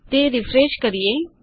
તે રીફ્રેશ કરીએ